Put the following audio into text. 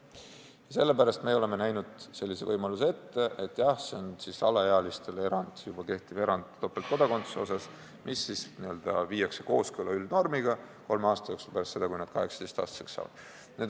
Ja sellepärast olemegi näinud ette sellise võimaluse, et alaealistele tehtaks erand, juba kehtiv erand topeltkodakondsuse osas, mis viiakse üldnormiga kooskõlla kolme aasta jooksul pärast seda, kui nad on 18-aastaseks saanud.